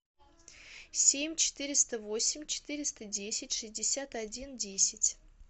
семь четыреста восемь четыреста десять шестьдесят один десять